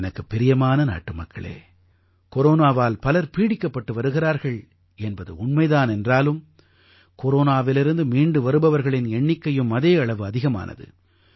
எனக்குப் பிரியமான நாட்டுமக்களே கொரோனாவால் பலர் பீடிக்கப்பட்டு வருகிறார்கள் என்பது உண்மை தான் என்றாலும் கொரோனாவிலிருந்து மீண்டு வருபவர்களின் எண்ணிக்கையும் அதே அளவு அதிகமானது